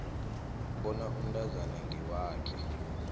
bona umntwana ngewakhe